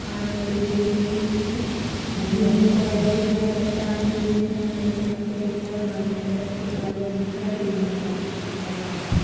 Car खड़ी दिख रही है। ग्रीन कलर दिख रहा है। चट्टानें दिख रही हैं। टाइप का दिख रहा है। वाइट कलर की बादल दिख रहा। पिंक कलर दिख रहा है बाद में --